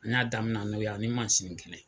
N y'a daminɛna n'o ye ani kelen